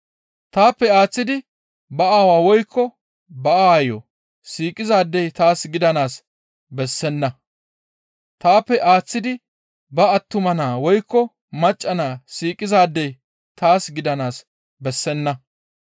«Taappe aaththidi ba aawaa woykko ba aayo siiqizaadey taas gidanaas bessenna. Taappe aaththidi ba attuma naa woykko, macca naa siiqizaadey taas gidanaas bessenna.